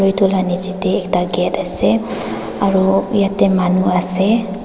etu laga niche te ekta gate ase aru yate manu ase.